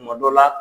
Kuma dɔ la